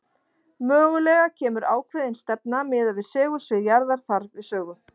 Mögulega kemur ákveðin stefna miðað við segulsvið jarðar þar við sögu.